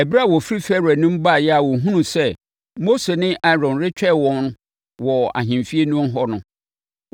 Ɛberɛ a wɔfiri Farao anim baeɛ a wɔhunuu sɛ Mose ne Aaron retwɛn wɔn wɔ ahemfie no ho no,